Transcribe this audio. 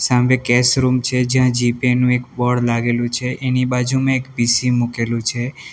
હાંભે cash room છે જ્યાં G Pay નું એક બોર્ડ લાગેલું છે એની બાજુમાં એક પી_સી મૂકેલું છે.